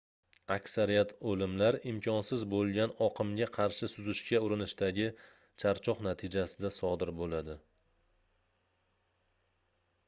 aksariyat oʻlimlar imkonsiz boʻlgan oqimga qarshi suzishga urinishdagi charchoq natijasida sodir boʻladi